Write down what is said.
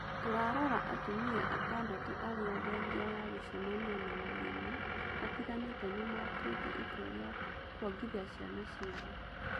Tũrarora atumia atandatũarĩa thengia ya gũcemania na mathĩna matiganĩte nĩ matuĩte itua rĩa kwongithĩa ciana ciao.